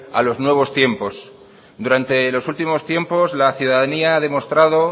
a los nuevos tiempos durante los últimos tiempos la ciudadanía ha demostrado